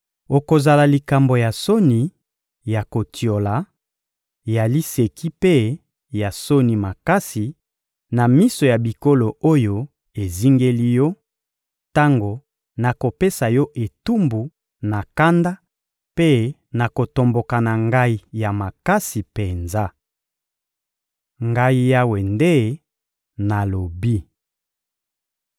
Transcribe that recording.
Okozala likambo ya soni, ya kotiola, ya liseki mpe ya soni makasi na miso ya bikolo oyo ezingeli yo, tango nakopesa yo etumbu na kanda mpe na kotomboka na Ngai ya makasi penza.» Ngai Yawe nde nalobi.